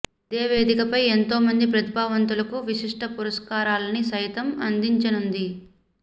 ఇదే వేదికపై ఎంతో మంది ప్రతిభావంతులకు విశిష్ట పురస్కారాలని సైతం అందించనుంది